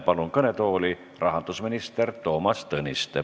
Palun kõnetooli rahandusminister Toomas Tõniste.